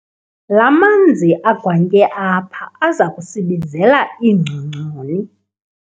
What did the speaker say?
La manzi agwantye apha aza kusibizela iingcongconi.